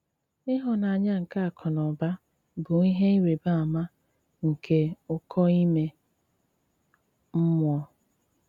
Íhụ́nànyà nké àkụ nà ụ́bà bụ́ íhé írị́bà àmà nké ụ́kò ímé mmụ̀ọ́.